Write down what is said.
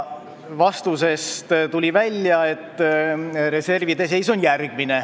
Vastusest tuli välja järgmine reservide seis.